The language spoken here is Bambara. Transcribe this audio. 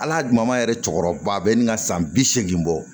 Ala dama yɛrɛ cɛkɔrɔba bɛ n ka san bi seegin bɔ